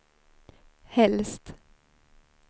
helst